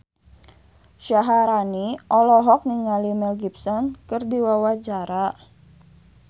Syaharani olohok ningali Mel Gibson keur diwawancara